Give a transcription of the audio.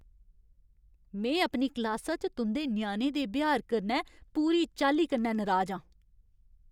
में अपनी क्लासा च तुं'दे ञ्याणे दे ब्यहार कन्नै पूरी चाल्ली कन्नै नराज आं!